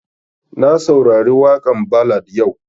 Na saurari waƙan ballad yau